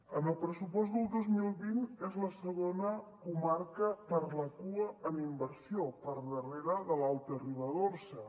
en el pressupost del dos mil vint és la segona comarca per la cua en inversió per darrere de l’alta ribagorça